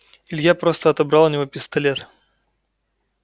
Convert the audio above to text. илья просто отобрал у него пистолет